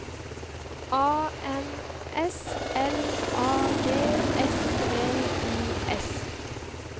A N S L A G S V I S